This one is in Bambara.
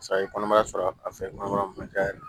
Sa i ye kɔnɔmaya sɔrɔ a fɛ mankan ma ca yɛrɛ